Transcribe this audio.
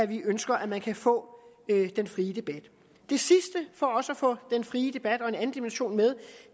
vi ønsker at man kan få den frie debat det sidste for også at få den frie debat og en anden dimension med